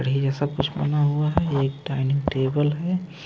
जैसा कुछ बना हुआ है ये एक डाइनिंग टेबल है।